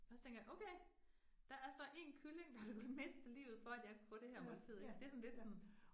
Og så tænker jeg okay, der er så 1 kylling, der skulle miste livet for, at jeg kunne få det her måltid ik, det sådan lidt sådan